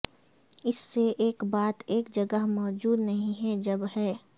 اس سے ایک بات ایک جگہ موجود نہیں ہے جب ہے